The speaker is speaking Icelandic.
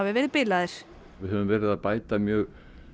verið bilaðir við höfum verið að bæta mjög